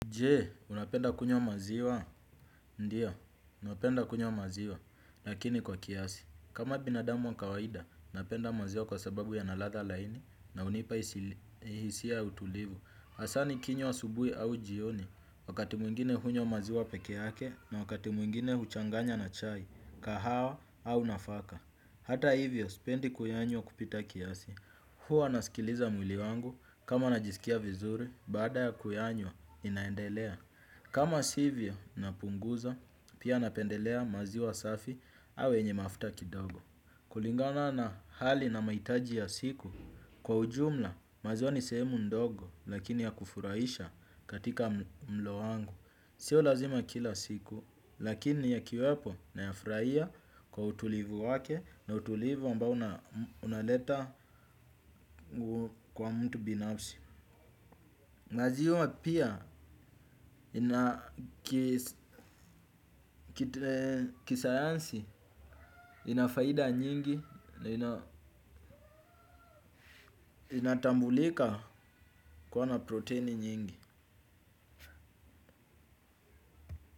Je, unapenda kunywa maziwa? Ndiyo, napenda kunywa maziwa, lakini kwa kiasi, kama binadamu wa kawaida, napenda maziwa kwa sababu yana ladha laini, na hunipa hisia ya utulivu. Hasa nikinywa asubuhi au jioni, wakati mwingine hunywa maziwa pekee yake, na wakati mwingine huchanganya na chai, kahawa, au nafaka. Hata hivyo, sipendi kuyanywa kupita kiasi. Huwa nasikiliza mwili wangu kama najisikia vizuri baada ya kuyanywa inaendelea. Kama sivyo napunguza. Pia napendelea maziwa safi au yenye mafuta kidogo. Kulingana na hali na mahitaji ya siku, kwa ujumla maziwa ni sehemu ndogo lakini ya kufurahisha katika mlo wangu. Sio lazima kila siku, lakini yakiwepo nayafurahia kwa utulivu wake na utulivu ambao unaleta kwa mtu binafsi. Maziwa pia kisayansi ina faida nyingi na ina inatambulika kuwa na proteini nyingi.